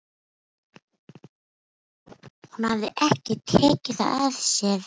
Hún hafði ekki tekið það af sér.